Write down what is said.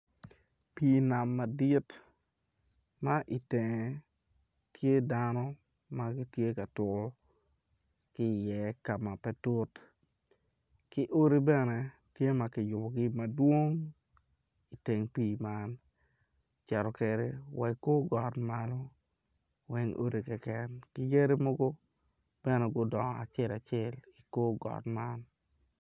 Pii nam madit ma itenge tye dano ma gitye ka tuku ki i iye ka ma pe tut ki odi bene tye ma kiyubugi madwong iteng pii man oceto kede wa i kor got malo weng odi keken ki yadi mogo bene gudongo acel acel i kor got man